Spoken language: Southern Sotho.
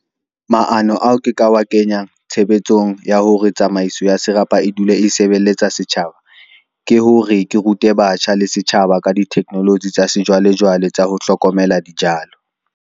Maano ao ke ka wa kenyang tshebetsong ya hore tsamaiso ya serapa e dule e sebelletsa setjhaba, ke hore ke rute batjha le setjhaba ka di-technology tsa sejwalejwale tsa ho hlokomela dijalo.